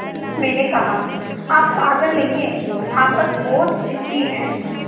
मैंने कहा आप पागल नहीं हैं आप बस बहुत ज़िद्दी हैं